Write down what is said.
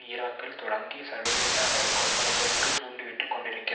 ஈராக்கில் தொடங்கி சர்வதேச அளவில் கொள்ளையடிப்பதற்கு தீண்டிவிட்டுக் கொண்டிருக்கிறது